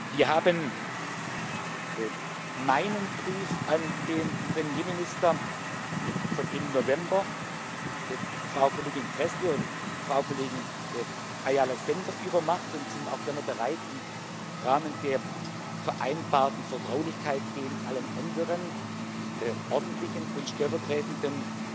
Wir haben meinen Brief an den Premierminister von Ende November Frau Kollegin Gräßle und Frau Kollegin Ayala Sender übermacht und sind auch gerne bereit, im Rahmen der vereinbarten Vertraulichkeit, ihn allen anderen ordentlichen und stellvertretenden